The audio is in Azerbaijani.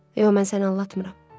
Yox, mən səni aldatmıram.